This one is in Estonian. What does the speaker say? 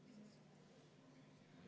Vaheaeg on lõppenud.